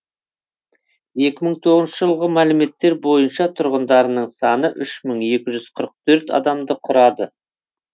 екі мың тоғызыншы жылғы мәліметтер бойынша тұрғындарының саны үш мың екі жүз қырық төрт адамды құрады